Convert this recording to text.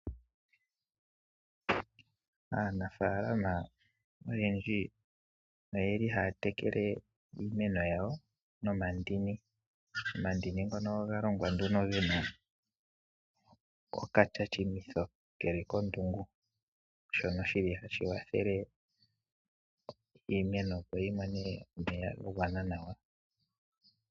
Aanafaalama oyendji oyeli haya tekele iimeno yawo nomandini. Omandini ngono oga longwa nduno gena okashashaminitho keli kondungu, shono shili hashi wathele iimeno opo yi mone omeya ga gwana nawa.